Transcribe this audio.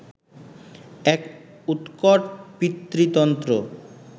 এক উৎকট পিতৃতন্ত্র